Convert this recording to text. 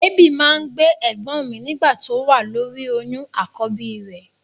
Èébì máa ń gbé ẹ̀gbọ́n mi nígbà tó wà lóri oyún àkọ́bí rẹ̀.